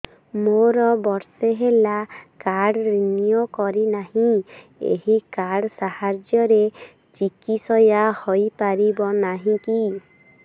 ମୋର ବର୍ଷେ ହେଲା କାର୍ଡ ରିନିଓ କରିନାହିଁ ଏହି କାର୍ଡ ସାହାଯ୍ୟରେ ଚିକିସୟା ହୈ ପାରିବନାହିଁ କି